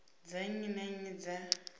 dza nnyi na nnyi dza